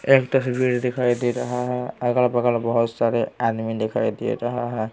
एक तस्वीर दिखाई दे रहा है अगल बगल बहुत सारे आदमी दिखाई दे रहे हैं।